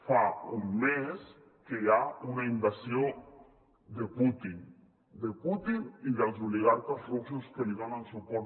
fa un mes que hi ha una invasió de putin de putin i dels oligarques russos que li donen suport